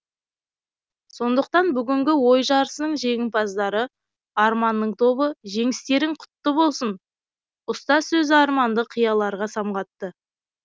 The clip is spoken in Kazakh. сондықтан бүгінгі ой жарысының жеңімпаздары арманның тобы жеңістерің құтты болсын ұстаз сөзі арманды қияларға самғатты